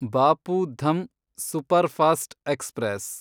Bapu Dham superfast express